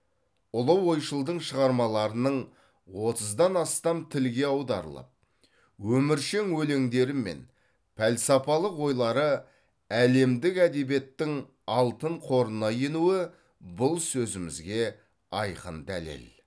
ұлы ойшылдың шығармаларының отыздан астам тілге аударылып өміршең өлеңдері мен пәлсапалық ойлары әлемдік әдебиеттің алтын қорына енуі бұл сөзімізге айқын дәлел